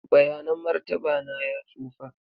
bayanan martaba na ya tsufa.